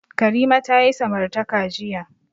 Karima ta yi samartaka jiya.